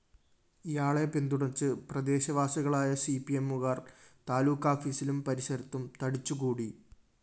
ഇയാളെ പിന്തുണച്ച് പ്രദേശവാസികളായ സിപിഎമ്മുകാര്‍ താലൂക്കാഫിസിലും പരിസരത്തും തടിച്ചുകൂടി